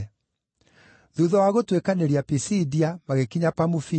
Thuutha wa gũtuĩkanĩria Pisidia, magĩkinya Pamufilia,